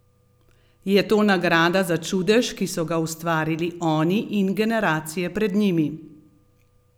Je to nagrada za čudež, ki so ga ustvarili oni in generacije pred njimi?